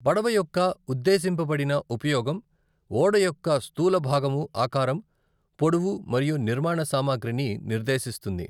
పడవ యొక్క ఉద్దేశింపబడిన ఉపయోగం ఓడయొక్క స్థూలభాగము ఆకారం, పొడవు మరియు నిర్మాణ సామగ్రిని నిర్దేశిస్తుంది.